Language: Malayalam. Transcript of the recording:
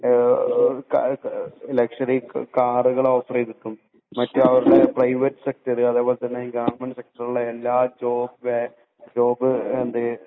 ലക്ഷ്വറി കാറുകൾ ഓഫർ ചെയ്തിട്ടും മറ്റു പ്രൈവറ്റ് സെക്ടറുകളിലും അതുപോലെതന്നെ ഗവണ്മെന്റ് സെക്ടറിലെ എല്ലാ ജോബ്